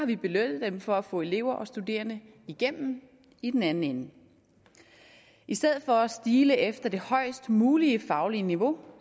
vi belønnet dem for at få elever og studerende igennem i den anden ende i stedet for at stile efter det højst mulige faglige niveau